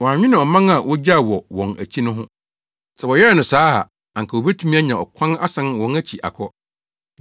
Wɔannwene ɔman a wogyaw wɔ wɔn akyi no ho. Sɛ wɔyɛɛ no saa a, anka wobetumi anya ɔkwan asan wɔn akyi akɔ hɔ.